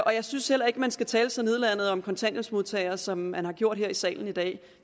og jeg synes heller ikke at man skal tale så nedladende om kontanthjælpsmodtagere som man har gjort her i salen i dag